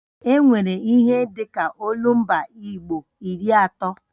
E nwere ihe dịka olumba igbo iri atọ